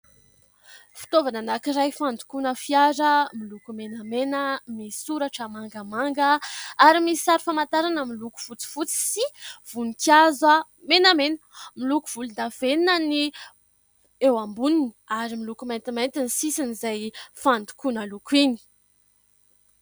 Fitaovana anankiray fandokoana fiara, miloko menamena, misy soratra mangamanga ary misy sary famantarana miloko fotsifotsy sy voninkazo menamena. Miloko volondavenona ny eo amboniny ary miloko maintimainty ny sisiny izay fandokoana loko iny.